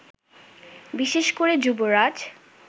বিশেষ করে যুবরাজ